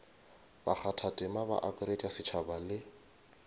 bakgathatema ba akaretša setšhaba le